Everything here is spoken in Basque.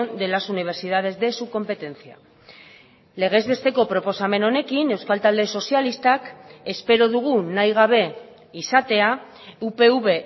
de las universidades de su competencia legez besteko proposamen honekin euskal talde sozialistak espero dugu nahi gabe izatea upv